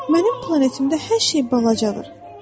Mənim planetimdə hər şey balacadır.